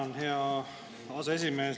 Tänan, hea aseesimees!